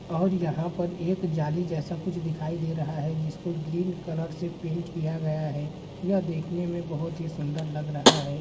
और यहाँ पर एक जाली जैसा कुछ दिखाई दे रहा है जिसको ग्रीन कलर से पेंट किया गया है यह देखने में बहुत ही सुन्दर लग रहा है।